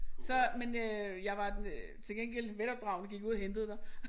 Så men øh jeg var den til gengæld velopdragen og gik ud og hentede dig